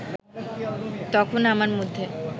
তখন আমার মধ্যে